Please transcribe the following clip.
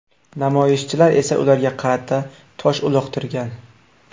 Namoyishchilar esa ularga qarata tosh uloqtirgan.